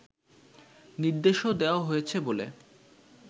নির্দেশও দেওয়া হয়েছে বলে